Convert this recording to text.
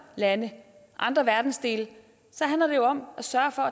lande og andre verdensdele handler det jo om at sørge for